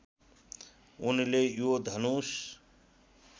उनले यो धनुष